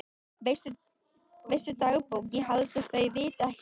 Veistu dagbók ég held að þau viti ekki neitt.